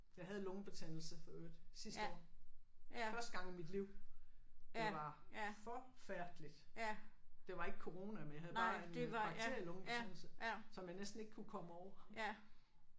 Jeg havde lungebetændelse for øvrigt sidste år. Første gang i mit liv. Det var forfærdeligt det var ikke corona men jeg havde bare en bakterielungebetændelse som jeg næsten ikke kunne komme over